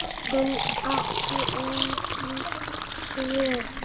Hann átti engin svör.